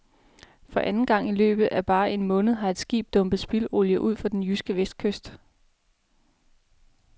For anden gang i løbet af bare en måned har et skib dumpet spildolie ud for den jyske vestkyst.